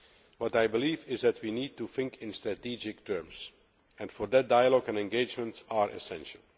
What I believe is that we need to think in strategic terms, and for that dialogues and engagements are essential.